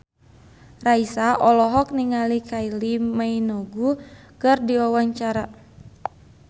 Raisa olohok ningali Kylie Minogue keur diwawancara